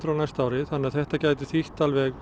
á næsta ári þannig að þetta gæti þýtt